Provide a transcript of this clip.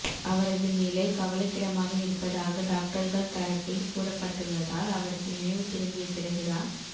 அவரது நிலை கவலைக்கிடமாக இருப்பதாக டாக்டர்கள் தரப்பில் கூறப்பட்டுள்ளதால் அவருக்கு நினைவு திரும்பிய பிறகுதான்